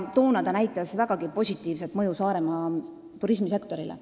Toona oli näha selle vägagi positiivne mõju Saaremaa turismisektorile.